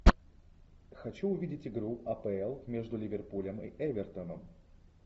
хочу увидеть игру апл между ливерпулем и эвертоном